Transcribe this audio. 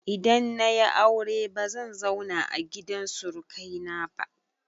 Idan na yi aure bazan zauna a gidan surukaina ba.